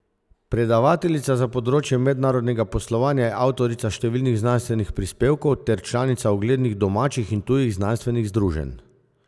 Predavateljica za področje mednarodnega poslovanja je avtorica številnih znanstvenih prispevkov ter članica uglednih domačih in tujih znanstvenih združenj.